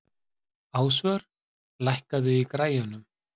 Ásvör, lækkaðu í græjunum.